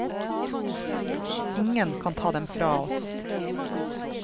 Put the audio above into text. Ingen kan ta dem fra oss.